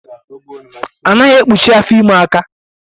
A naghi ekpụchi afọ ime aka